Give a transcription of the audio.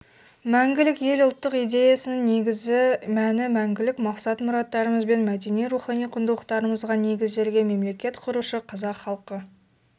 мәңгілік ел ұлттық идеясының негізгі мәні мәңгілік мақсат-мұраттарымыз бен мәдени-рухани құндылықтарымызға негізделген мемлекет құрушы қазақ халқы